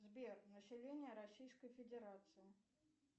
сбер население российской федерации